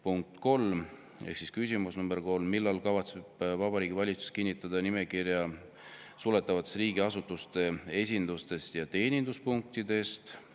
" Punkt 3 ehk siis küsimus nr 3: "Millal kavatseb Vabariigi Valitsus kinnitada nimekirja suletavatest riigiasutuste esindustest ja teeninduspunktidest?